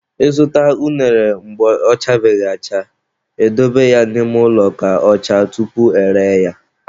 I zụta unere mgbe ọ chabeghị acha, e dobe ya n'ime ụlọ ka ọ chaa tupu e ree ya.